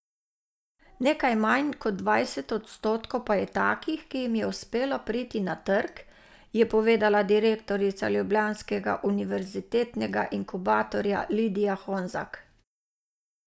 Nekaj manj kot dvajset odstotkov pa je takih, ki jim je uspelo priti na trg, je povedala direktorica Ljubljanskega univerzitetnega inkubatorja Lidija Honzak.